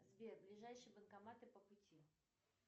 сбер ближайшие банкоматы по пути